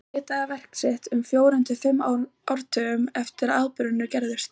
Hann ritaði verk sitt um fjórum til fimm áratugum eftir að atburðirnir gerðust.